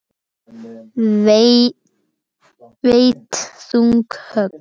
Veitt þung högg.